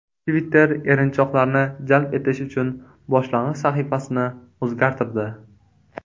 Twitter erinchoqlarni jalb etish uchun boshlang‘ich sahifasini o‘zgartirdi.